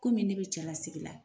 Komi ne be cɛlasigi la